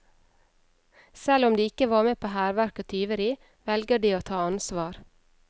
Selv om de ikke var med på hærverk og tyveri, velger de å ta ansvar.